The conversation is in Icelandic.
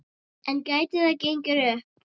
En gæti það gengið upp?